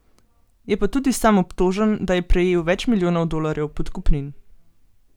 Je pa tudi sam obtožen, da je prejel več milijonov dolarjev podkupnin.